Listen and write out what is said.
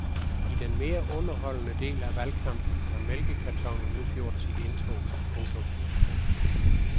I den mere underholdende del af valgkampen har mælkekartonen nu gjort sit indtog. punktum